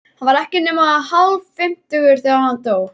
Hann var ekki nema hálffimmtugur, þegar hann dó.